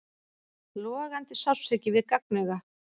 Logandi sársauki við gagnauga.